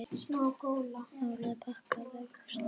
Árið er pakkað, vægast sagt.